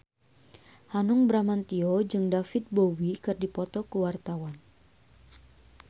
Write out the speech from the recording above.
Hanung Bramantyo jeung David Bowie keur dipoto ku wartawan